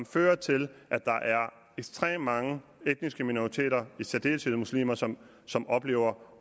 fører til at der er ekstremt mange etniske minoriteter i særdeleshed muslimer som som oplever